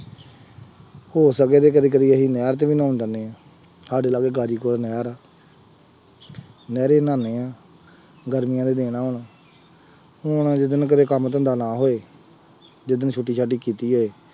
ਹੋ ਸਕੇ ਤੇ ਕਦੀ ਕਦੀ ਅਸੀਂ ਨਹਿਰ ਚ ਵੀ ਨਹਾਉਣ ਜਾਂਦੇ ਹਾਂ, ਸਾਡੇ ਲਾਗੇ ਗਾਜ਼ੀਪੁਰ ਨਹਿਰ ਹੈ, ਨਹਿਰੇ ਨਹਾਉਂਦੇ ਹਾਂ, ਗਰਮੀਆਂ ਦੇ ਦਿਨ ਹੋਣ, ਹੁਣ ਜਿਸ ਦਿਨ ਕਦੇ ਕੰਮ ਧੰਦਾ ਨਾ ਹੋਵੇ, ਜਿਸ ਦਿਨ ਛੁੱਟੀ ਛਾਟੀ ਕੀਤੀ ਹੋਵੇ,